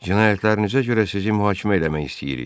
Cinayətlərinizə görə sizi mühakimə eləmək istəyirik.